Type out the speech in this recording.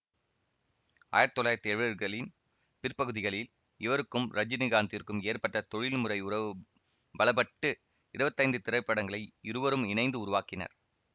ஆயிரத்தி தொள்ளாயிரத்தி எழுவதுகளின் பிற்பகுதிகளில் இவருக்கும் ரஜனிகாந்த்திற்கும் ஏற்பட்ட தொழில்முறை உறவு பலப்பட்டு இருவத்தி ஐந்து திரைப்படங்களை இருவரும் இணைந்து உருவாக்கினர்